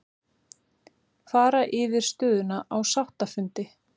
Fara yfir stöðuna á sáttafundi